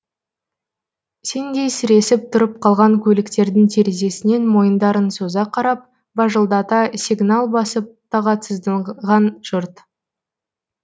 сеңдей сіресіп тұрып қалған көліктердің терезесінен мойындарын соза қарап бажылдата сигнал басып тағатсызданған жұрт